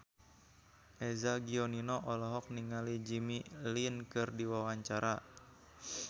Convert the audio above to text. Eza Gionino olohok ningali Jimmy Lin keur diwawancara